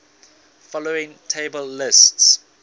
following table lists